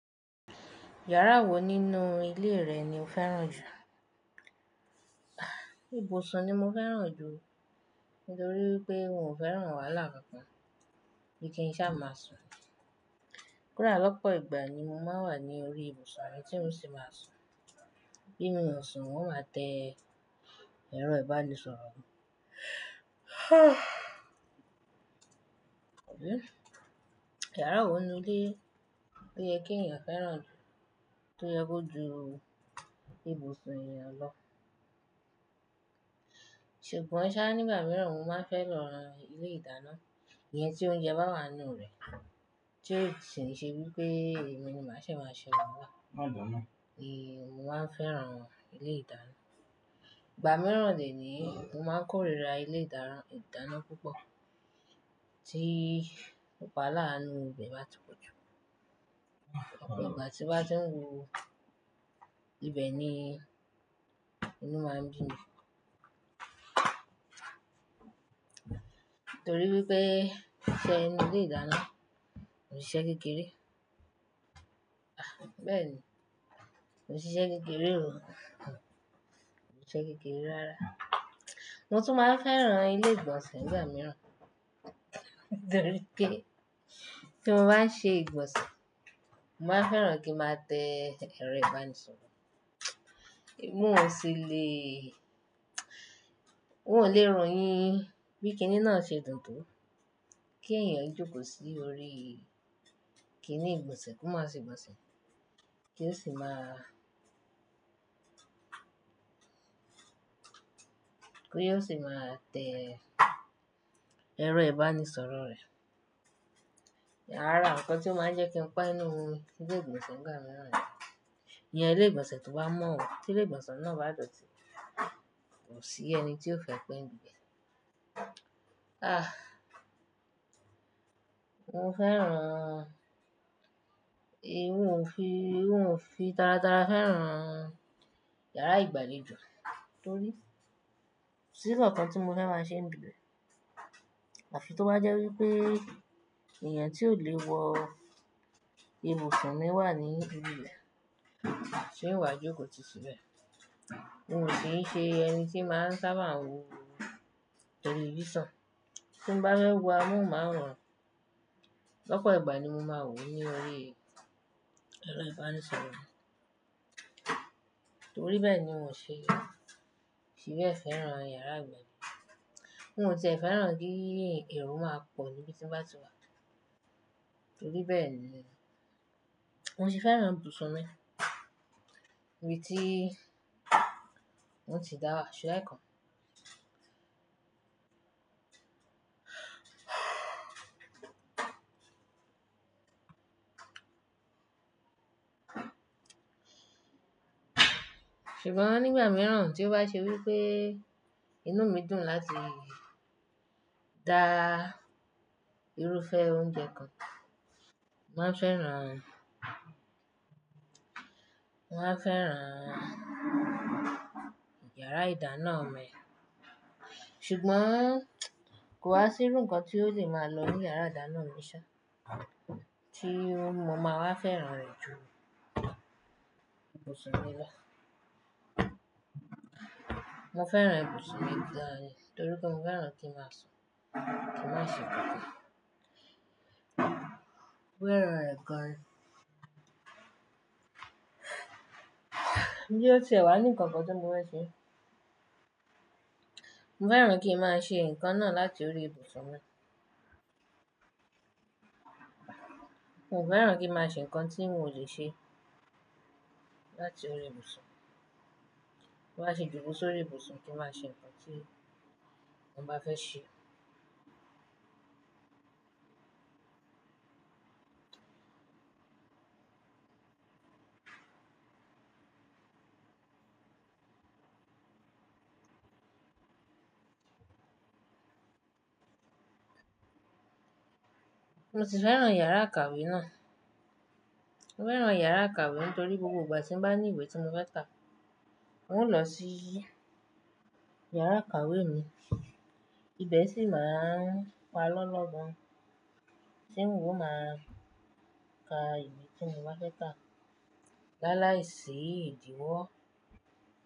Yàrá wo nínú ilé rẹ ni o fẹ́ràn jù? Ibùsùn ni mo fẹ́ràn jù nítorí pé òun ò fẹ́ràn wàhálà kan kan bí i kí n sá máa sùn. Kodaà lọ́pọ̀ ìgbà ni mo máa ń wà ní orí ibùsùn mi tí mò ń sì máa sùn. Bí mo sùn, wọn máa tẹ́ ẹrọ ìbánisọ̀rọ̀ mi. Yàrá wo nínú ilé lo yé kí ènìyàn fẹ́ràn jù tó yẹ kó ju ibùsùn ènìyàn lọ? Ṣùgbọ́n sá nígbà mìíràn, mo máa fẹ́ran ilé-ìdáná, ìyẹn tí ó ounjẹ bá wà nínú rẹ̀, tí o ṣe wí pé èmi ni màá ṣe máa ṣe wahalá. Ma dàna. Èéh, mo máa fẹ́ràn ilé-ìdáná. Ìgbà mìíràn dè ní yii mo máa ń kórìíra ilé-ìdáná púpọ̀ tí òpó alánu ibẹ̀ bá ti pọ̀ jù. Òpó ìgbà tí bá ti ń wo ibẹ̀ ni inú máa ń bi mí. Nítorí wipé iṣe inu ilè dáná, ko se ise kekere Bẹ́ẹ̀ ni, ko se ise kekere o, ko se ise kekere rara. Mo tún máa fẹ́ràn ilé-ìgbọ̀nsẹ̀ nígbà mìíràn nítorí pé tí mo bá ń ṣe ìgbọ̀nsẹ̀, mo máa fẹ́ràn kí n máa tẹ́ ẹrọ ìbánisọ̀rọ̀. Èmi ò sí lè, wọn ò lè royin bí kíni náà ṣe dùn tó kí ènìyàn jókòó sí orí kíni ìgbọ̀nsẹ̀, kí o má ṣe ìgbọ̀nsẹ̀, kí ó sì máa, kí ó sì máa tẹ́ ẹrọ ìbánisọ̀rọ̀ rẹ̀. Ará, nǹkan tí ó máa ń jẹ́ kí n pe inú ni ilé-ìgbọ̀nsẹ̀ nígbà mìíràn rẹ̀. Iyẹn ilé-ìgbọ̀nsẹ̀ tó bá mọ́ o, tí ilé-ìgbọ̀nsẹ̀ náà bá dọ̀tí, kò sí ẹni tí ó fẹ́ pẹ́ nìbẹ̀. Mo fẹ́ràn, èéh, mo ò fi, mo ò fi taratará fẹ́ràn yàrá ìgbàlejò nítorí sí ìkàn nkan tí mo fẹ́ máa ṣe ńibi be Àfi tó bá jẹ́ wí pé ènìyàn tí ò lè wọ ibùsùn mi wà ní ibi rẹ̀, ṣé ìwà jókòó ti síbẹ̀. Mo ki n ṣe ẹni tí màá ń sábà wo tẹlifísàn. Tí mo bá fẹ́ wọ, amohunmáworań. Ọ̀pọ̀ ìgbà ni mo máa ń wò ó ní orí ẹrọ ìbánisọ̀rọ̀ mi. Nítorí bẹ́ẹ̀ ni mò ń ṣe se be fẹ́ràn yàrá ìgbàlejò. Oun tié fẹ́ràn kí èrò máa pọ̀ níbi tí mo bá ti wà. Nítorí bẹ́ẹ̀ ni, mo sì fẹ́ràn ibùsùn mi bí tí wọn ti dáwa ṣẹ́lẹ̀ kan. Ṣùgbọ́n nígbà mìíràn tí ó bá ṣe wí pé inú mi dùn láti dá irúfẹ́ oúnjẹ kan, mo máa fẹ́ràn, mo máa fẹ́ràn yàrá ìdáná mi. Ṣùgbọ́n kò wá sí irú nǹkan tí ó lè máa lọ ní yàrá ìdáná mi ṣá tí mo máa wá fẹ́ràn rẹ̀ jù ibùsùn mi lọ. Mo fẹ́ràn ibùsùn mi dáadáa nítorí pé mo fẹ́ràn kí ń máa sùn, kí ń máa ṣe kankan. Mo fẹ́ràn rẹ̀ gan. Bí ó ti wà ní nǹkan kan tí mo fẹ́ ṣe, mo fẹ́ràn kí ń máa ṣe nǹkan náà láti orí ibùsùn mi. Mo fẹ́ràn kí ń máa ṣe nǹkan tí mo ò ṣe láti orí ibùsùn. Mo wá ṣe jùbọ sórí ibùsùn kí n máa ṣe nǹkan tí mo bá fẹ́ ṣe. Mo sì fẹ́ràn yàrá ikàwé náà. Mo fẹ́ràn yàrá àkàwé nítorí gbogbo ìgbà tí mo bá ní ìwé tí mo fẹ́ kà, mo ń lọ sí yàrá ikàwé mi. Ibẹ̀ sì máa ń pa lọ́lọ́ gan tí oun o máa ka ìwé tí mo bá fẹ́ kà láì láì sì ìdíwọ́.